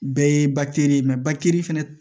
Bɛɛ ye bakiri ye fana